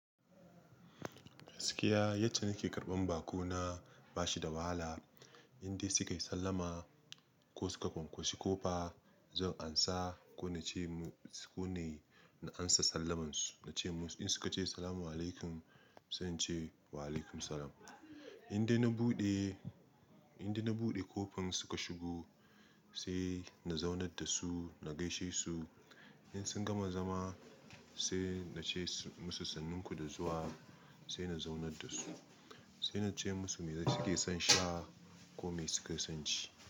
Gaskiya yadda nake karɓan baƙo na bashi da wahala. Indai suka yi sallama ko suka kwankwashi kofa zan amsa ko na ce musu ko ne na amsa sallamansu. Na ce musu in suka ce "Assalamu alaikum" sai in ce "Wa alaikum assalam". Indai na buɗe, indai na buɗe ƙofan suka shigo sai na zaunar da su, na gaishe su. In sun gama zama sai na ce musu sannun ku da zuwa sai na zaunar da su. Sai na ce musu me suke son sha ko me suke son ci.